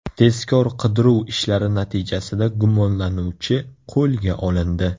Tezkor-qidiruv ishlari natijasida gumonlanuvchi qo‘lga olindi.